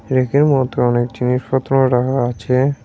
ব়্যাকের মধ্যে অনেক জিনিসপত্র রাখা আছে।